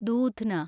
ദൂധ്ന